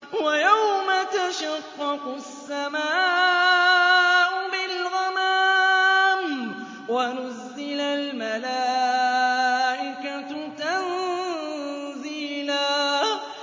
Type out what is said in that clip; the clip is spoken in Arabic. وَيَوْمَ تَشَقَّقُ السَّمَاءُ بِالْغَمَامِ وَنُزِّلَ الْمَلَائِكَةُ تَنزِيلًا